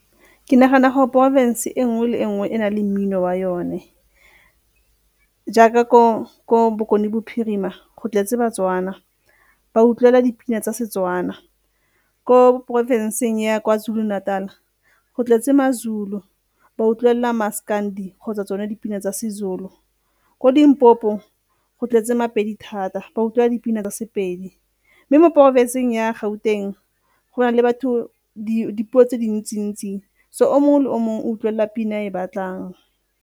Ke nagana gore porofese e nngwe le nngwe e na le mmino wa yone jaaka ko Bokone Bophirima go tletse baTswana, ba utlwela dipina tsa Setswana. Ko porofenseng ya Kwa Zulu Natal-a go tletse maZulu, ba utlwelela Maskandi kgotsa tsone dipina tsa seZulu. Ko Limpopo go tletse maPedi thata, ba utlwa dipina tsa sePedi. Mme mo porofenseng ya Gauteng go na le batho, dipuo tse dintsi-ntsi so o mongwe le o mongwe o utlwelela pina e a e batlang.